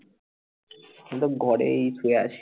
আমি তো ঘরেই শুয়ে আছি